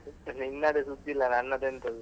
ನಿನ್ನದೇ ಸುದ್ದಿ ಇಲ್ಲ, ನನ್ನದೆಂತದು.